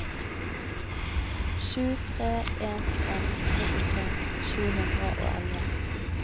sju tre en en nittitre sju hundre og elleve